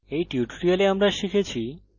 এই tutorial আমরা শিখেছি